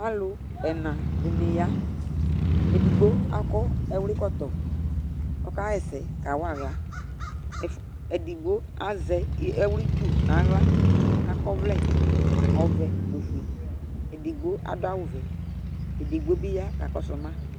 Alʋ ɛna dɩnɩ ya Edigbo akɔ ɛwlɩkɔtɔ, ɔkaɣa ɛsɛ kawa aɣla Ɛfʋ edigbo azɛ ɛwlɩtsu nʋ aɣla, akɔ ɔvlɛ ɔvɛ nʋ ofue Edigbo adʋ awʋvɛ Edigbo bɩ ya kakɔsʋ ma